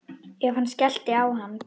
Ef hann skellti á hann.